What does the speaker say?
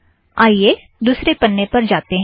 आइए दुसरे पन्ने पर जातें हैं